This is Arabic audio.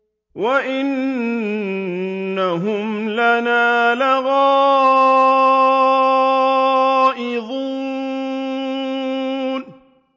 وَإِنَّهُمْ لَنَا لَغَائِظُونَ